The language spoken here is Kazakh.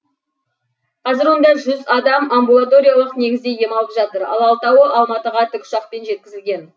қазір онда жүз адам амбулаториялық негізде ем алып жатыр ал алтауы алматыға тікұшақпен жеткізілген